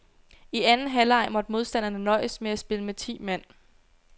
I anden halvleg måtte modstanderne nøjes med at spille med ti mand.